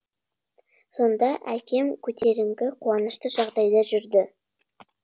сонда әкем көтеріңкі қуанышты жағдайда жүрді